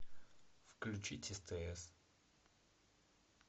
включить стс